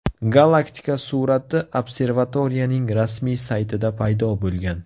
Galaktika surati observatoriyaning rasmiy saytida paydo bo‘lgan .